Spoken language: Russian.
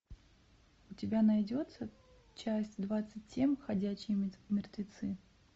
у тебя найдется часть двадцать семь ходячие мертвецы